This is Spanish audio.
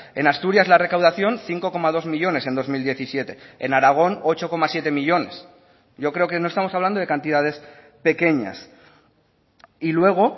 en asturias la recaudación cinco coma dos millónes en dos mil diecisiete en aragón ocho coma siete millónes yo creo que no estamos hablando de cantidades pequeñas y luego